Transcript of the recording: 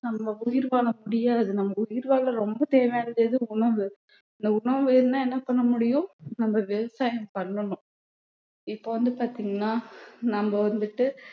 நம்ம உயிர் வாழ முடியாது நம்ம உயிர் வாழ ரொம்ப தேவையானது எது உணவு இந்த உணவு இருந்தா என்ன பண்ண முடியும் நம்ம விவசாயம் பண்ணணும் இப்போ வந்து பாத்தீங்கன்னா நம்ம வந்துட்டு